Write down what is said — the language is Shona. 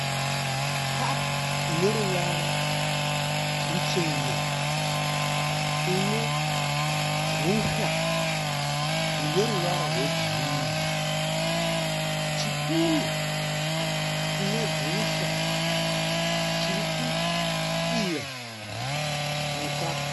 Kapu ineruvara ruchena inegusha rineruvara rwegirini, chipunu chinegusha chirikudira mukapu.